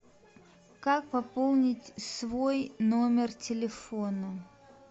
как пополнить свой номер телефона